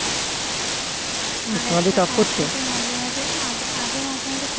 আগে মাঝে মাঝে আগে আগে মাঝে মাঝে